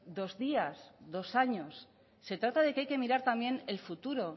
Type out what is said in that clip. dos días dos años se trata de que haya que mirar también el futuro